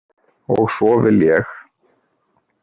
Og svo vil ég.